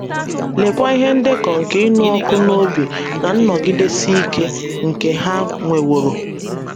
Leekwa ihe ndekọ nke ịnụ ọkụ n’obi na nnọgidesi ike nke Ha nweworo!